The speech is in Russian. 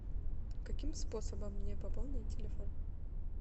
каким способом мне пополнить телефон